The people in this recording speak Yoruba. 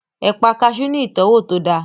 Ẹ̀pà kaasú ní ìtọ́wò tó dáa